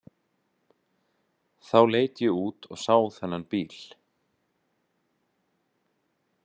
Þá leit ég út og sá þennan bíl.